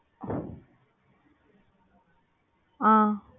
உம்